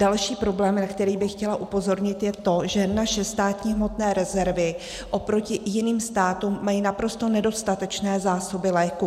Další problém, na kterých bych chtěla upozornit, je to, že naše státní hmotné rezervy oproti jiným státům mají naprosto nedostatečné zásoby léků.